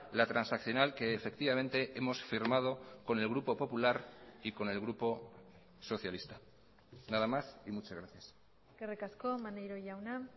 la transaccional que efectivamente hemos firmado con el grupo popular y con el grupo socialista nada más y muchas gracias eskerrik asko maneiro jauna